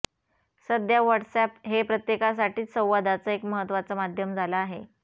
सध्या WhatsApp हे प्रत्येकासाठीच संवादाचं एक महत्त्वाचं माध्यम झालं आहे